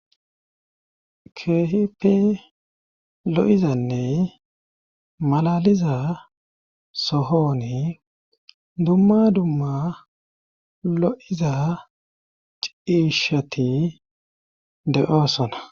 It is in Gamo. Keehipe lo7izanne malaliza sohoni dumma dumma lo7iza ciishati deoosona.